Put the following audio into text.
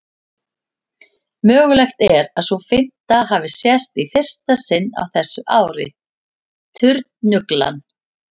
Mögulegt er að sú fimmta hafi sést í fyrsta sinn á þessu ári, turnuglan.